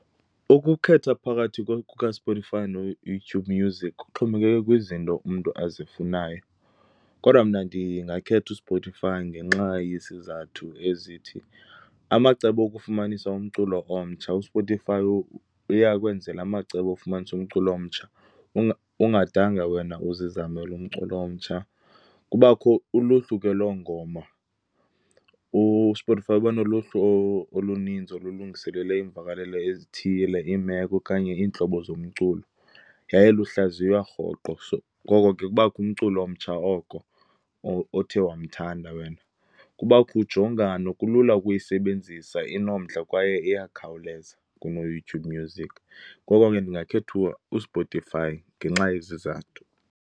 Ukukhetha phakathi kukaSpotify noYouTube Music kuxhomekeke kwizinto umntu azifunayo. Kodwa mna ndingakhetha uSpotify ngenxa yesizathu ezithi, amacebo okufumanisa umculo omtsha. USpotify uyakwenzela amacebo ofumanisa umculo omtsha, ungadanga wena uzizamele umculo omtsha. Kubakho uluhlu ke loongoma. USpotify uba noluhlu oluninzi olulungiselelwe iimvakalelo ezithile, iimeko okanye iintlobo zomculo, yaye luhlaziywa rhoqo. So, ngoko ke kubakho umculo omtsha oko othe wamthanda wena. Kubakho ujongano, kulula ukuyisebenzisa, inomdla kwaye iyakhawuleza kunoYouTube Music. Ngoko ke ndingakhetha uSpotify ngenxa yezi zathu.